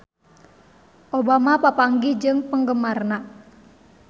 Obama papanggih jeung penggemarna